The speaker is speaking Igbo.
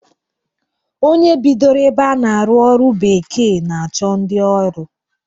Onye bidoro ebe a na-arụ ọrụ bekee na-achọ ndi ọrụ